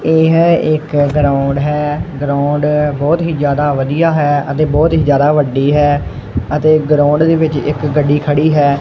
ਇਹ ਹੈ ਇਕ ਗਰਾਉਂਡ ਹੈ ਗਰਾਉਂਡ ਬਹੁਤ ਹੀ ਜਿਆਦਾ ਵਧੀਆ ਹੈ ਅਤੇ ਬਹੁਤ ਹੀ ਜਿਆਦਾ ਵੱਡੀ ਹੈ ਅਤੇ ਗਰਾਉਂਡ ਦੇ ਵਿੱਚ ਇੱਕ ਗੱਡੀ ਖੜੀ ਹੈ।